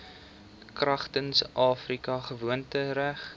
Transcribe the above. kragtens afrika gewoontereg